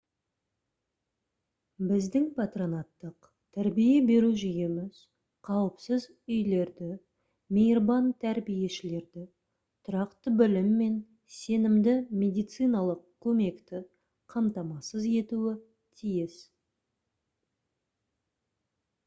біздің патронаттық тәрбие беру жүйеміз қауіпсіз үйлерді мейірбан тәрбиешілерді тұрақты білім мен сенімді медициналық көмекті қамтамасыз етуі тиіс